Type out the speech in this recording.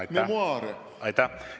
Aitäh!